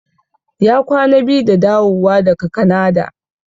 Ya kwana biyu da dawowa daga Kanada.